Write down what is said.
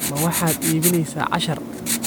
Ma waxaad iibsanaysaa cashar?